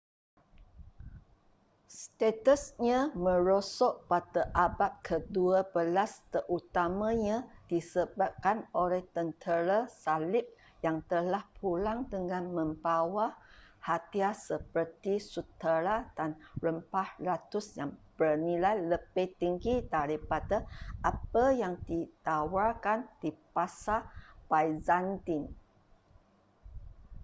statusnya merosot pada abad kedua belas terutamanya disebabkan oleh tentera salib yang telah pulang dengan membawa hadiah seperti sutera dan rempah ratus yang bernilai lebih tinggi daripada apa yang ditawarkan di pasar byzantine